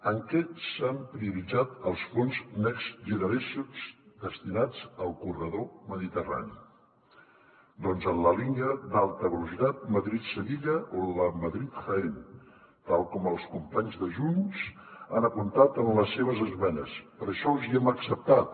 en què s’han prioritzat els fons next generation destinats al corredor mediterrani doncs a la línia d’alta velocitat madrid sevilla o a la madrid jaén tal com els companys de junts han apuntat en les seves esmenes per això els hi hem acceptat